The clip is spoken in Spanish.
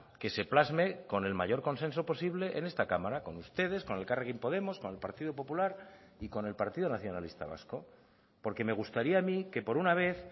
que se plasme con el mayor consenso posible en esta cámara con ustedes con elkarrekin podemos con el partido popular y con el partido nacionalista vasco porque me gustaría a mí que por una vez